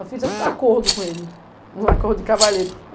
Eu fiz um acordo com ele, um acordo de cavalheiro.